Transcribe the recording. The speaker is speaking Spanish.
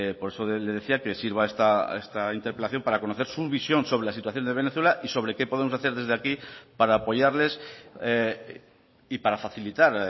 por eso le decía que sirva esta interpelación para conocer su visión sobre la situación de venezuela y sobre qué podemos hacer desde aquí para apoyarles y para facilitar